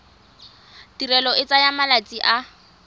tirelo e tsaya malatsi a